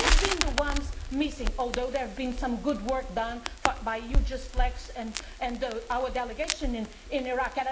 We have been the ones missing, although there has been some good work done by EUJUST LEX and our delegation in Iraq.